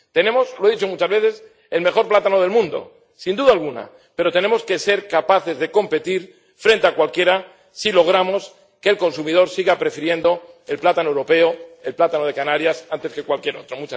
Tenemos, lo he dicho muchas veces, el mejor plátano del mundo, sin duda alguna, pero tenemos que ser capaces de competir frente a cualquiera si logramos que el consumidor siga prefiriendo el plátano europeo, el plátano de Canarias, antes que cualquier otro.